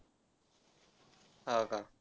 हां का.